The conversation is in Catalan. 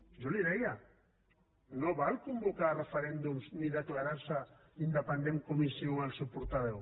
jo li deia no val convocar referèndums ni declarar se independent com insinua el seu portaveu